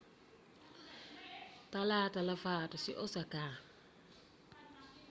talaata la faatu ci osaka